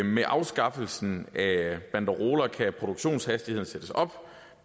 med afskaffelsen af banderoler kan produktionshastigheden sættes op